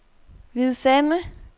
Hvide Sande